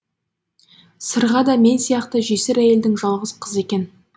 сырға да мен сияқты жесір әйелдің жалғыз қызы екен